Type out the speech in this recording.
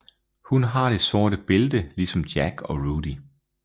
Hun har det sorte bælte ligesom Jack og Rudy